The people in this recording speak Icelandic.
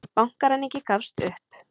Bankaræningi gafst upp